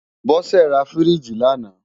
Bose rá fírìjí làná